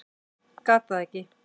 Gat það ekki.